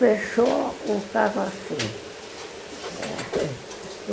Fechou o caso assim.